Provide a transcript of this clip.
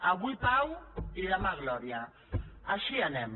avui pau i demà glòria així anem